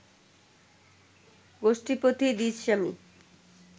গোষ্ঠীপতি দ্বিজস্বামী